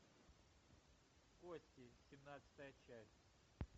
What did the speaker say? кости семнадцатая часть